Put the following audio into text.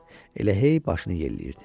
Elə hey başını yelləyirdi.